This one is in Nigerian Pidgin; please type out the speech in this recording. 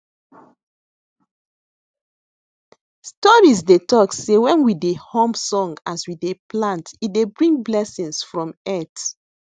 stories dey talk sey when we dey hum song as we dey plant e dey bring blessings from earth